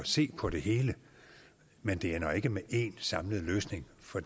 se på det hele men det ender ikke med én samlet løsning for